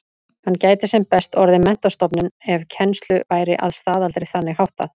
Hann gæti sem best orðið menntastofnun ef kennslu væri að staðaldri þannig háttað.